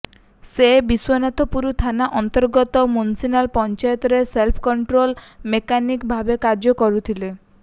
ସେ ବିଶ୍ୱନାଥପୁର ଥାନା ଅନ୍ତର୍ଗତ ମୂଷିନାଳ ପଞ୍ଚାୟତର ସେଲ୍ଫ କଣ୍ଟ୍ରୋଲ ମେକାନିକ ଭାବେ କାର୍ଯ୍ୟ କରୁଥିଲେ